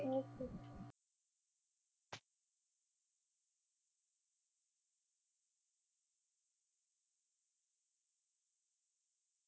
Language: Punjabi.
Okay ਜੀ